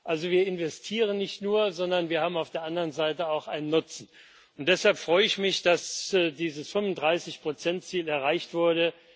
Also wir investieren nicht nur, sondern wir haben auf der anderen Seite auch einen Nutzen, und deshalb freue ich mich, dass dieses 35 Ziel erreicht wurde.